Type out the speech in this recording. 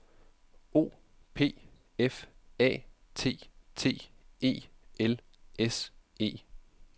O P F A T T E L S E